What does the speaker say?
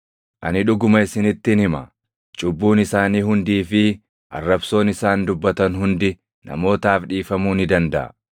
Ani dhuguma isinittin hima; cubbuun isaanii hundii fi arrabsoon isaan dubbatan hundi namootaaf dhiifamuu ni dandaʼa;